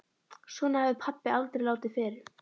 Svona hafði pabbi aldrei látið fyrr.